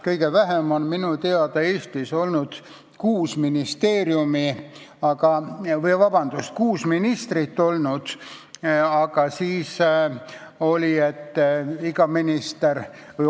Kõige väiksem valitsus Eestis minu teada on olnud kuus ministrit.